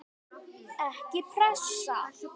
Ekki pressa!